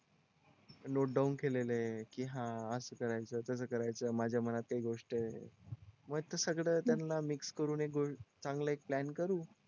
note down केलेलंय की हा असं करायचं तसं करायचं माझ्या मनात काही गोष्ट आहे सगळं त्यांना मिक्स करून चांगला एक प्लॅन करू